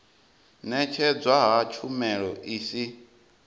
ṅetshedzwa ha tshumelo i si